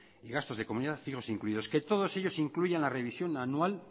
y gastos de comunidad fijos incluidos que todos ellos incluyan la revisión anual